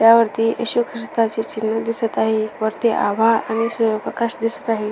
त्यावरती एशू ख्रिस्तानचे चिन्ह दिसत आहे वरती आभाळ आणि सूर्यप्रकाश दिसत आहे.